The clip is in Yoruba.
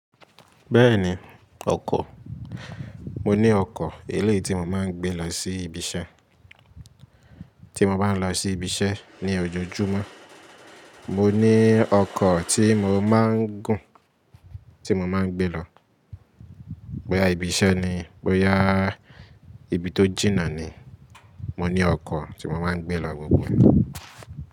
Bẹ́ẹ̀ni, ọkọ̀, mo ní ọkọ̀ eléití mo máa ń gbé lọ sí ibi iṣẹ́, tí mo bá ń lọ sí ibi iṣẹ́ ní ojoojúmọ́. Mo ní ọkọ̀ tí mo máa ń gùn, tí mo máa ń gbé lọ. Bóyá ibi iṣẹ́ ni, bóyá ibi tó jìnnà ni, mo ní ọkọ̀ tí mo máa ń gbé lọ gbogbo ní.